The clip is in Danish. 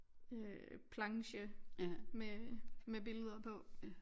Øh planche med med billeder på